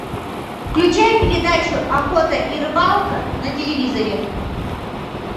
включай передачу охота и рыбалка на телевизоре